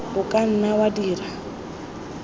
o ka nna wa dira